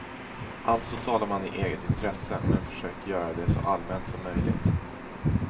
Alltså talar man i eget intresse, men försöker göra det så allmänt som möjligt.